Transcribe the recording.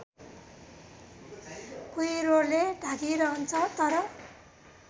कुहिरोले ढाकिरहन्छ तर